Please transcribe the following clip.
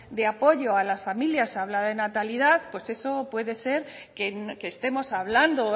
de apoyo a las familias se habla de natalidad pues eso puede ser que estemos hablando o